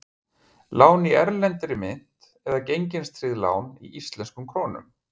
Lán í erlendri mynt eða gengistryggt lán í íslenskum krónum?